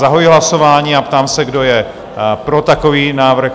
Zahajuji hlasování a ptám se, kdo je pro takový návrh?